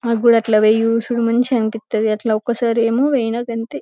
నాకూడా అట్ల మంచి అనిపిస్తది అట్లా ఒక్కసారి ఏమో ఐనకంతే.